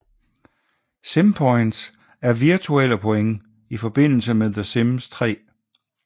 Simpoints er virtuelle point i forbindelse med the sims 3